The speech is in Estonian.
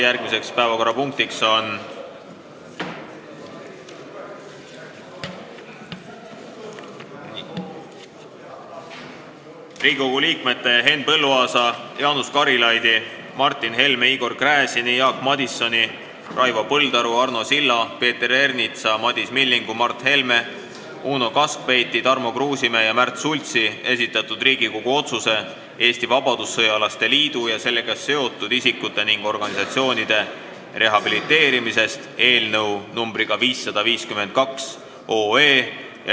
Järgmine päevakorrapunkt on Riigikogu liikmete Henn Põlluaasa, Jaanus Karilaidi, Martin Helme, Igor Gräzini, Jaak Madisoni, Raivo Põldaru, Arno Silla, Peeter Ernitsa, Madis Millingu, Mart Helme, Uno Kaskpeiti, Tarmo Kruusimäe ja Märt Sultsi esitatud Riigikogu otsuse "Eesti Vabadussõjalaste Liidu ja sellega seotud isikute ning organisatsioonide rehabiliteerimisest" eelnõu 552 arutelu.